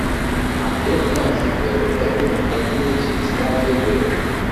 àdéhùn náà ti bẹ̀rẹ̀ lẹ́yìn ọdún méjì tí wọ́n kéde rẹ̀.